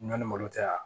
N'a ni malo tɛ wa